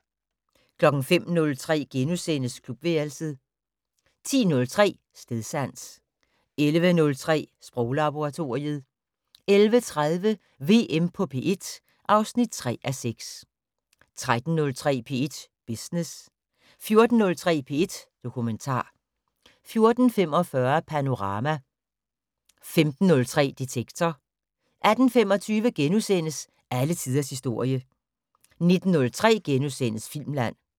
05:03: Klubværelset * 10:03: Stedsans 11:03: Sproglaboratoriet 11:30: VM på P1 (3:6) 13:03: P1 Business 14:03: P1 Dokumentar 14:45: Panorama 15:03: Detektor 18:25: Alle tiders historie * 19:03: Filmland *